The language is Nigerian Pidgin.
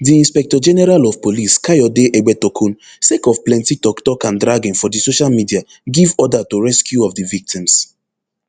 di inspectorgeneral of police kayode egbetokun sake of plenti toktok and dragging for di social media give order to rescue of di victims